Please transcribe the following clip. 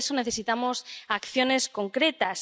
Por eso necesitamos acciones concretas.